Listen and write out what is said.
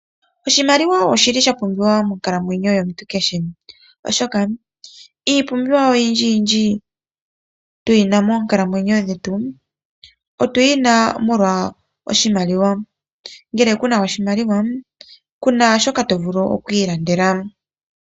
Oshimaliwa oshili shapumbiwa monkalamwenyo yomuntu kehe, oshoka iipumbiwa oyindji tuyina monkalamwenyo dhetu otuyi na molwa oshimaliwa nongele kuna oshimaliwa kuna shoka to vulu oku ilandela.